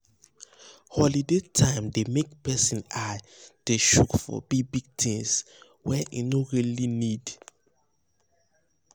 holiday time dey make person eye dey chook for big big things wey e no really um need um need